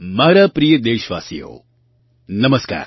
મારા પ્રિય દેશવાસીઓ નમસ્કાર